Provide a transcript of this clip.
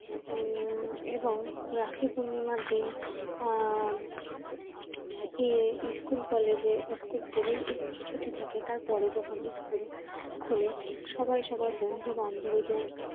উম এবং রাখি পূর্ণিমার দিন উম school college school ছুটি থাকে তার পরে যখন স্কুল খুলে সবাই সবার বন্ধু বান্ধবীদের